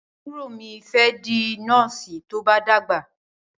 Àbúrò mí fé di Nọ́ọ̀sì tó bá dàgbà.